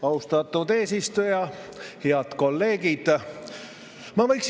Austatud eesistuja!